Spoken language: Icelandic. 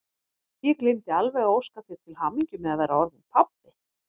Ég gleymdi alveg að óska þér til hamingju með að vera orðinn pabbi!